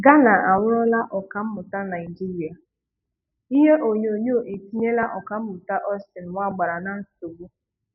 Ghana anwụrụla Ọkammụta Naijiria: Ihe onyonyo etinyela ọkammụta Austin Nwagbara na nsogbu?